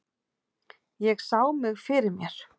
Ég sá mig fyrir mér.